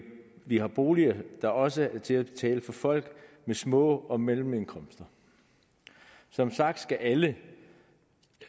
vi har boliger der også er til at betale for folk med små og mellemindkomster som sagt skal alle